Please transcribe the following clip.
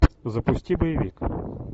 запусти боевик